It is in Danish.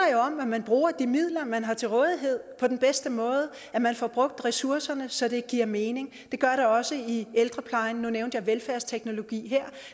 om at man bruger de midler man har til rådighed på den bedste måde at man får brugt ressourcerne så det giver mening det gør det også i ældreplejen nu nævnte jeg velfærdsteknologi her